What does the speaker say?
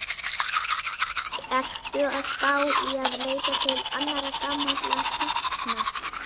Ertu að spá í að leita til annarra gamalla kempna?